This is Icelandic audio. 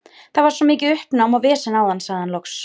Það var svo mikið uppnám og vesen áðan, sagði hann loks.